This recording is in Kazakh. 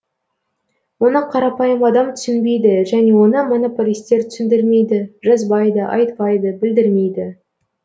оны қарапайым адам түсінбейді және оны монополистер түсіндірмейді жазбайды айтпайды білдірмейді